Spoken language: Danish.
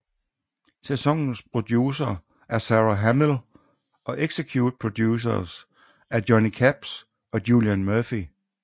Sæsonens producer er Sara Hamill og executive producers er Johnny Capps og Julian Murphy